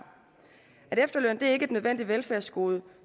efterløn er ikke et nødvendigt velfærdsgode